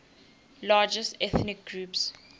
largest ethnic groups